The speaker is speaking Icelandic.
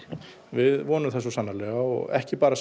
við vonum það svo sannarlega og ekki bara